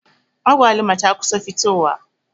Agwaluma ta kusa fitowa.